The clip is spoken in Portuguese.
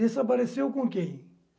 Desapareceu com quem?